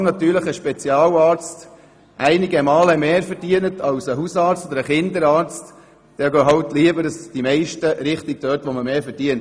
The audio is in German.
So lange ein Spezialarzt ein Mehrfaches von einem Hausarzt oder einem Kinderarzt verdient, gehen die meisten lieber dorthin, wo sie mehr verdienen.